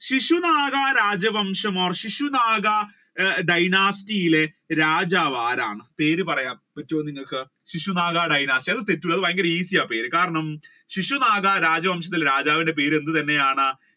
ശിശുനാഗ രാജ്യവംശം or Shishunaga dynasty ലെ രാജാവ് ആരാണ്? പേര് പറയാൻ പറ്റുവോ നിങ്ങൾക്ക് ശിശുനാഗ ഭയങ്കര easy ആണ് പേര് കാരണം ശിശുനാഗ രാജ്യവംശത്തിൽ രാജാവിന്റെ പേര് എന്ത് തന്നെയാണ്